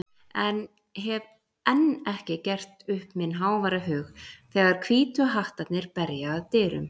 en hef enn ekki gert upp minn háværa hug þegar Hvítu hattarnir berja að dyrum.